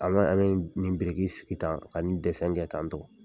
An bɛ an bɛ nin biriki sigi tan ani ni ni dɛsɛn kɛ tan tɔ